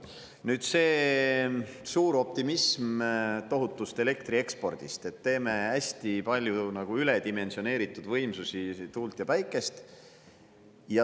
Nüüd see suur optimism tohutust elektriekspordist, et teeme hästi palju üledimensioneeritud võimsusi – tuult ja päikest.